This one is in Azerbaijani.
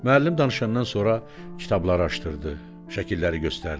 Müəllim danışandan sonra kitabları açdırdı, şəkilləri göstərdi.